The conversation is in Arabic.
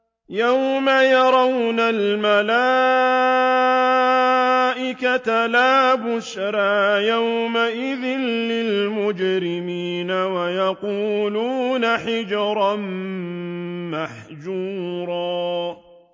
يَوْمَ يَرَوْنَ الْمَلَائِكَةَ لَا بُشْرَىٰ يَوْمَئِذٍ لِّلْمُجْرِمِينَ وَيَقُولُونَ حِجْرًا مَّحْجُورًا